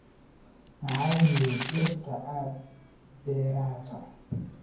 Maxay yihiin dhirta aad beerato?